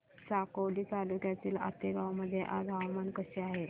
साकोली तालुक्यातील आतेगाव मध्ये आज हवामान कसे आहे